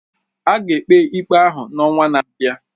A ga-ekpe ikpe ahụ n'ọnwa na-abịa.